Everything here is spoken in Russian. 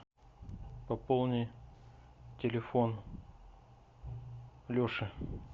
пополни телефон леше